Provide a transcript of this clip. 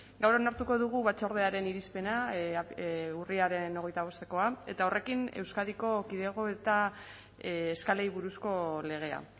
gaur onartuko dugu batzordearen irizpena urriaren hogeita bostekoa eta horrekin euskadiko kidego eta eskalei buruzko legea